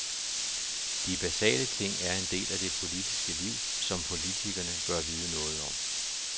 De basale ting er en del af det politiske liv, som politikerne bør vide noget om.